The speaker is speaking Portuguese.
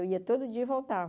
Eu ia todo dia e voltava.